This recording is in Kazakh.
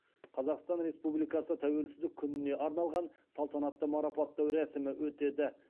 қазақстан республикасы тәуелсіздік күніне арналған салтанатты марапаттау рәсімі өтеді